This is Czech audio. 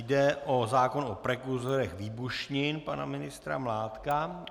Jde o zákon o prekurzorech výbušnin pana ministra Mládka.